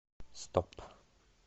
стоп